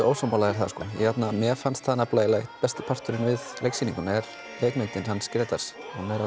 ósammála þér það mér fannst það eiginlega einn besti parturinn við leiksýninguna leikmynd Hans Grétars